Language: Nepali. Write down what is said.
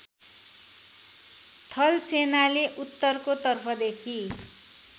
थलसेनाले उत्तरको तर्फदेखि